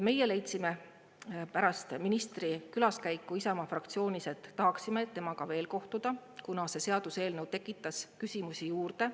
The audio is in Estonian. Meie leidsime pärast ministri külaskäiku Isamaa fraktsioonis, et tahaksime temaga veel kohtuda, kuna see seaduseelnõu tekitas küsimusi juurde.